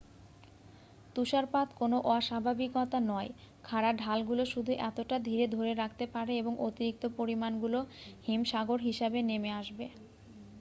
তুষারপাত কোন অস্বাভাবিকতা নয় খাড়া ঢালগুলো শুধু এতটা ধীর ধরে রাখতে পারে এবং অতিরিক্ত পরিমাণগুলো হিমসাগর হিসাবে নেমে আসবে